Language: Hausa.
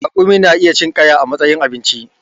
Raƙumi na iya cin ƙaya a matsayin abinci